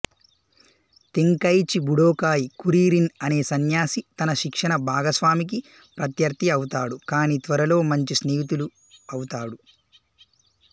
Tenkaichi Budokai Kuririn అనే సన్యాసి తన శిక్షణ భాగస్వామికి ప్రత్యర్థి అవుతాడు కాని త్వరలో మంచి స్నేహితులు అవుతాడు